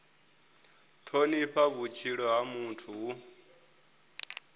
thonifha vhutshilo ha muthu hu